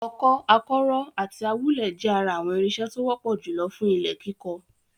Ọkọ́, akọ́rọ́ àti awúlẹ̀ jẹ́ ara àwọn irinṣẹ́ tó wọ́pọ̀ jùlọ fún ilẹ̀ kíkọ.